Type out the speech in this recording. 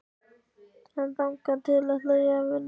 En þangað til ætla ég að vinna hjá pabba.